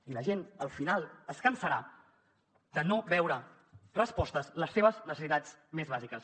i la gent al final es cansarà de no veure respostes les seves necessitats més bàsiques